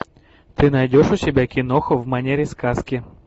ты найдешь у себя киноху в манере сказки